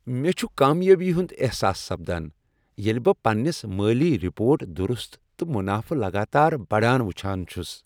مےٚ چھُ کامیابی ہُند احساس سپدان ییٚلہ بہٕ پننس مٲلی رپورٹ درُست تہٕ منافہٕ لگاتار بڑان وچھان چھُس۔